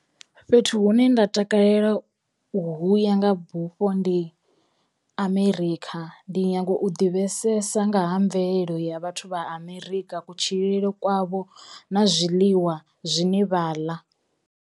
Fhethu hune nda takalela u huya nga bufho ndi Amerikha ndi nyago u ḓivhesesa nga ha mvelelo ya vhathu vha Amerika, kutshilele kwavho na zwiḽiwa zwine vha ḽa.